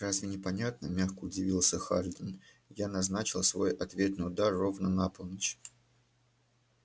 разве непонятно мягко удивился хардин я назначил свой ответный удар ровно на полночь